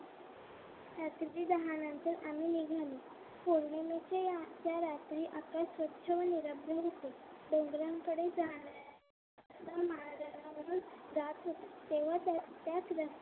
रात्रीचे दहा नंतर आम्ही निघालो पौर्णिमेच्या या अख्ख्या रात्री आकाश स्वच्छ व निरोगी रहा होते तोरण कडे जाणाऱ्या मार्गावरून तेव्हा त्या त्याच